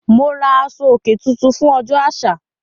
Mo ra aṣọ-òkè tuntun fún ọjọ́ àṣà.